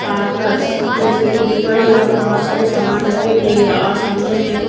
Parker's जैसे की मैं देख पा रही हूँ यहाँ पे सामान रखी हुई है और सामने मेको--